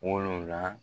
Wolonwulan